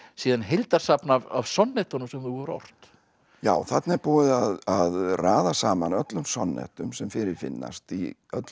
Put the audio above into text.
síðan heildarsafn af sonnettunum sem þú hefur ort já þarna er búið að raða saman öllum sem fyrir finnast í öllum